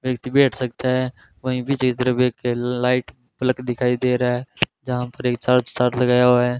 व्यक्ति बैठ सकता है वहीं लाइट प्लग दिखाई दे रहा है जहां पर एक चार्ज साथ लगाया हुआ है।